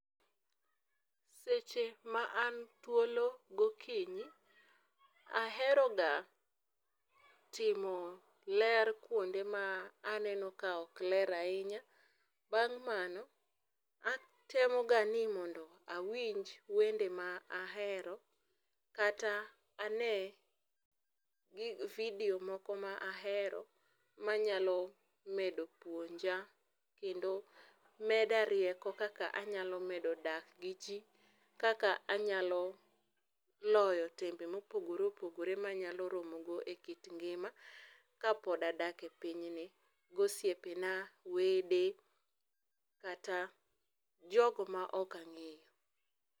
Seche ma an thuolo gokinyi ahero ga timo ler kuonde ma aneno ka ok ler ahinya, bang mano atemo ga ni mondo awinj wende ma ahero kata ane video moko ma ahero manyalo puonia kendo meda rieko kaka anyalo medo dak gi jii, kaka anyalo loyo tembe mopogore opogore manyalo romogo e kit ngima kapod adak e piny ni gosiepena, wede kata jogo ma ok angeyo